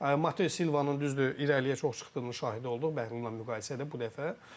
Mate Silva'nın düzdür irəliyə çox çıxdığının şahidi olduq Bəhlul'la müqayisədə bu dəfə.